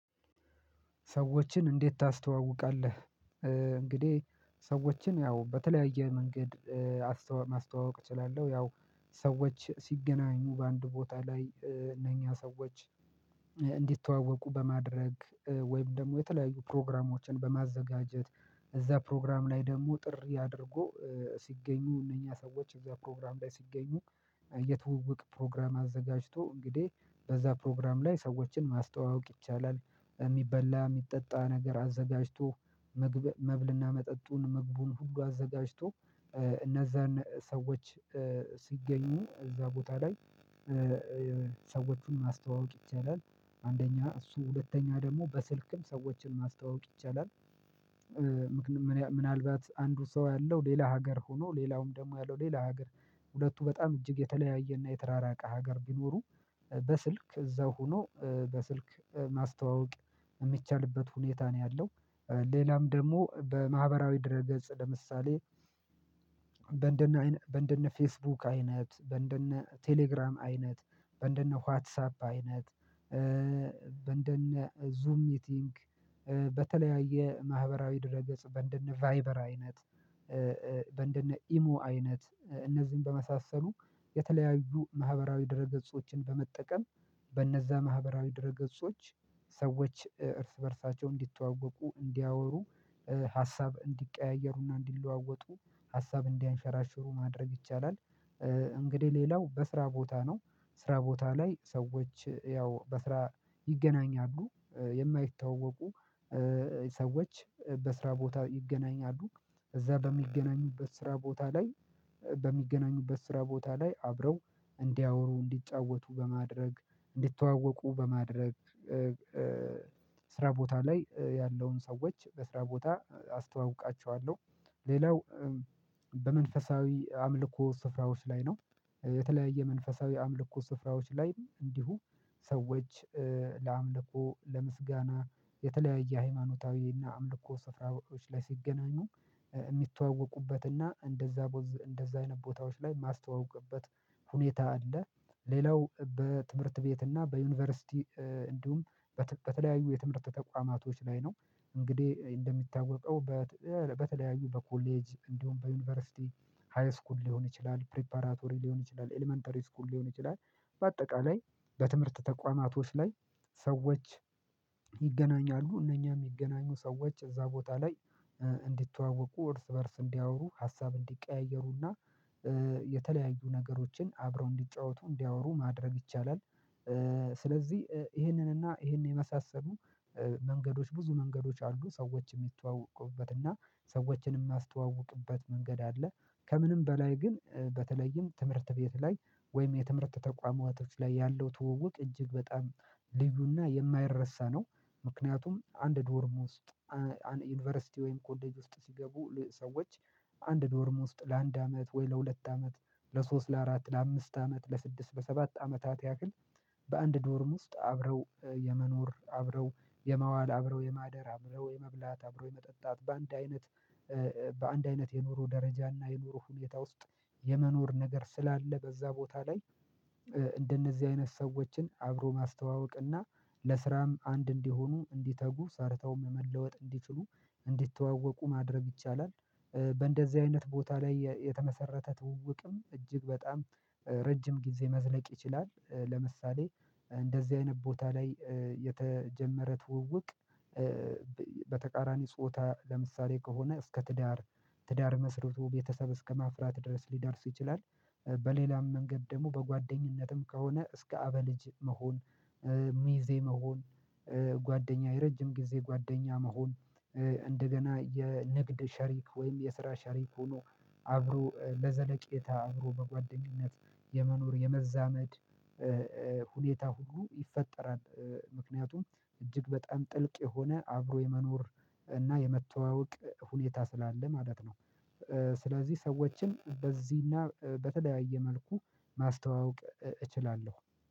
ሰዎችን እንዴት ታስተዋውቃለህ? እንግዲህ ሰዎችን ያው በተለያየ መንገድ ማስተዋወቅ እችላለሁ። ያው ሰዎች ሲገናኙ በአንድ ቦታ ላይ እነኛ ሰዎች እንዲተዋወቁ በማድረግ ወይም ደግሞ የተለያዩ ፕሮግራሞችን በማዘጋጀት እዛ ፕሮግራም ላይ ደግሞ ጥሪ አድርጎ ሲገኙ እነኛ ሰዎች እዛ ፕሮግራም ላይ ሲገኙ የትውውቅ ፕሮግራም አዘጋጅቶ እንግዲህ በዛ ፕሮግራም ላይ ሰዎችን ማስተዋወቅ ይቻላል በሚበላ የሚጠጣ ነገር አዘጋጅቶ መብልና መጠጡን መግቡን ሁሉ አዘጋጅቶ እነዛን ሰዎች ሲገኙ እዛ ቦታ ላይ ሰዎቹን ማስተዋወቅ ይቻላል። አንደኛ እሱ ሁለተኛ ደግሞ በስልክም ሰዎችን ማስተዋወቅ ይቻላል። ምክንያቱም ምናልባት አንዱ ሰው ያለው ሌላ ሀገር ሆኖ ሌላውም ደግሞ ያለው ሌላ ሀገር ሁለቱ በጣም እጅግ የተለያየና የተራራቀ ሀገር ቢኖሩ በስልክ እዛው ሆኖ በስልክ ማስተዋወቅ የሚቻልበት ሁኔታ ነው ያለው። ሌላም ደግሞ በማህበራዊ ድረ ገጽ ለምሳሌ በእንደነ በእንደነ ፌስቡክ አይነት በእንደነ ቴሌግራም አይነት በእንደነ ዋትሳፕ አይነት በእንደነ ዙም ሚቲንግ በተለያየ ማህበራዊ ድረገጽ በእንደነ ቫይበር አይነት በእንደነ ኢሞ አይነት እነዚህን በመሳሰሉ የተለያዩ ማህበራዊ ድረ ገጾችን በመጠቀም በነዛ ማህበራዊ ድረ ገጾች ሰዎች እርስ በእርሳቸው እንዲተዋወቁ እንዲያወሩ ሀሳብ እንዲቀያየሩና እንዲለዋወጡ ሀሳብ እንዲያንሸራሽሩ ማድረግ ይቻላል። እንግዲህ ሌላው በስራ ቦታ ነው ስራ ቦታ ላይ ሰዎች ያው በስራ ይገናኛሉ የማይታወቁ ሰዎች በስራ ቦታ ይገናኛሉ እዛ በሚገናኙበት ስራ ቦታ ላይ በሚገናኙበት ስራ ቦታ ላይ አብረው እንዲያወሩ እንዲጫወቱ በማድረግ እንዲተዋወቁ በማድረግ ስራ ቦታ ላይ ያለውን ሰዎች በስራ ቦታ አስተዋውቃቸዋለሁ። ሌላው በመንፈሳዊ አምልኮ ስፍራዎች ላይ ነው የተለያየ መንፈሳዊ አምልኮ ስፍራዎች ላይም እንዲሁ ሰዎች ለአምልኮ ለምስጋና የተለያየ ሃይማኖታዊና አምልኮ ስፍራዎች ላይ ሲገናኙ የሚተዋወቁበት እና እንደዛ እንደዛ አይነት ቦታዎች ላይ ማስተዋወቅበት ሁኔታ አለ። ሌላው በትምህርት ቤት እና በዩኒቨርሲቲ እንዲሁም በተለያዩ የትምህርት ተቋማቶች ላይ ነው እንግዲህ እንደሚታወቀው በተለያዩ በኮሌጅ እንዲሁም በዩኒቨርሲቲ ሃይስኩል ሊሆን ይችላል ፕሪፓራቶሪ ሊሆን ይችላል ኤለመንተሪ ስኩል ሊሆን ይችላል በአጠቃላይ በትምህርት ተቋማቶች ላይ ሰዎች ይገናኛሉ እነኛ የሚገናኙ ሰዎች እዛ ቦታ ላይ እንዲተዋወቁ እርስ በእርስ እንዲያወሩ ሀሳብ እንዲቀያየሩና የተለያዩ ነገሮችን አብረው እንዲጫወቱ እንዲያወሩ ማድረግ ይቻላል። ስለዚህ ይህንን እና ይህንን የመሳሰሉ መንገዶች ብዙ መንገዶች አሉ ሰዎች የሚተዋወቁበት እና ሰዎችን የሚያስተዋውቁበት መንገድ አለ። ከምንም በላይ ግን በተለይም ትምህርት ቤት ላይ ወይም የትምህርት ተቋማዊ እህቶች ላይ ያለው ትውውቅ እጅግ በጣም ልዩና የማይረሳ ነው። ምክንያቱም አንድ ድወርም ውስጥ ዩኒቨርሲቲ ወይም ኮዴጅ ውስጥ ሲገቡ ሰዎች አንድ ዶርም ውስጥ ለአንድ አመት ወይ ለሁለት አመት ለሶስት ለአራት ለአምስት አመት ለስድስት በሰባት አመታት ያክል በአንድ ዶርም ውስጥ አብረው የመኖር አብረው የመዋል አብረው የማደር አብረው የመብላት አብረው የመጠጣት በአንድ አይነት በአንድ አይነት የኑሮ ደረጃና የኑሮ ሁኔታ ውስጥ የመኖር ነገር ስላለ በዛ ቦታ ላይ እንደነዚህ አይነት ሰዎችን አብሮ ማስተዋወቅ ለስራም አንድ እንዲሆኑ እንዲተጉ ሰርተውም መለወጥ እንዲችሉ እንዲተዋወቁ ማድረግ ይቻላል። በእንደዚህ አይነት ቦታ ላይ የተመሰረተ ትውውቅም እጅግ በጣም ረጅም ጊዜ መዝለቅ ይችላል ለምሳሌ እንደዚህ አይነት ቦታ ላይ የተጀመረ ትውውቅ በተቃራኒ ጾታ ለምሳሌ ከሆነ እስከ ትዳር ትዳር መስርቶ ቤተሰብ እስከማፍራት ድረስ ሊዳርስ ይችላል። በሌላም መንገድ ደግሞ በጓደኝነትም ከሆነ እስከ አበ ልጅ መሆን ሚዜ መሆን ጓደኛ የረጅም ጊዜ ጓደኛ መሆን እንደገና የንግድ ሸሪክ ወይም የስራ ሸሪክ ሆኖ አብሮ ለዘለቄታ አብሮ በጓደኝነት የመኖር የመዛመድ ሁኔታ ሁሉ ይፈጠራል። ምክንያቱም እጅግ በጣም ጥልቅ የሆነ አብሮ የመኖር እና የመተዋወቅ ሁኔታ ስላለ ማለት ነው። ስለዚህ ሰዎችን በዚህና በተለያየ መልኩ ማስተዋወቅ እችላለሁ